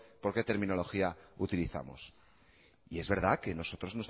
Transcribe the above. por qué terminología utilizamos y es verdad que nosotros